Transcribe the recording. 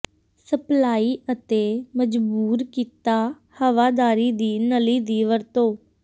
supply ਅਤੇ ਮਜਬੂਰ ਕੀਤਾ ਹਵਾਦਾਰੀ ਦੀ ਨਲੀ ਦੀ ਵਰਤੋ